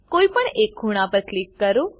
કોઈપણ એક ખૂણા પર ક્લિક કરો